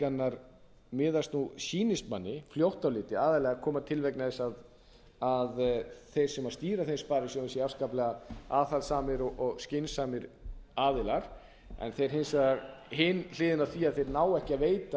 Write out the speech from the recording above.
en undantekningarnar miðast nú sýnist manni fljótt á litið aðallega koma til vegna þess að þeir sem stýra þeim sparisjóðum séu afskaplega aðhaldssamir og skynsamir aðilar en hins vegar hin hliðin á því að þeir nái ekki að veita